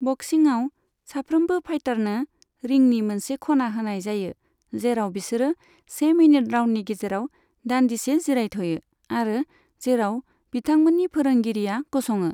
बक्सिंआव साफ्रोमबो फाइटारनो रिंनि मोनसे खना होनाय जायो, जेराव बिसोर से मिनिट राउन्डनि गेजेराव दान्दिसे जिरायथ'यो आरो जेराव बिथांमोननि फोरोंगिरिया गसङो।